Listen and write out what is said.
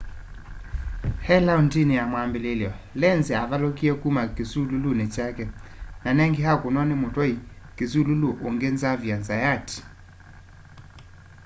e laũndini ya mwambililyo lenz avalũkie kuma kisululuni kyake na ningi akũnwa ni mutwai kisululu ungi xavier zayat